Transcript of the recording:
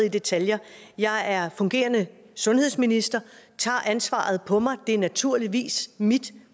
i detaljer jeg er fungerende sundhedsminister og tager ansvaret på mig det er naturligvis mit